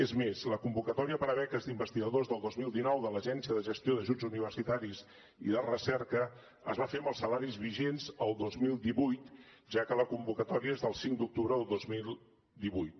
és més la convocatòria per a beques d’investigadors del dos mil dinou de l’agència de gestió d’ajuts universitaris i de recerca es va fer amb els salaris vigents el dos mil divuit ja que la convocatòria és del cinc d’octubre del dos mil divuit